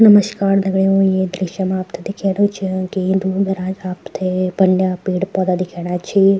नमस्कार दगड़ियों ये दृश्य मा आपथे दिखेणु च की दूर-दराज आपथे बंड्या पेड़-पौधा दिखेणा छि।